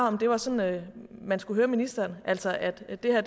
om det var sådan man skulle høre ministeren altså at at det her